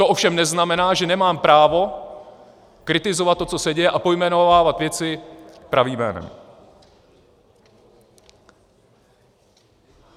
To ovšem neznamená, že nemám právo kritizovat to, co se děje, a pojmenovávat věci pravým jménem.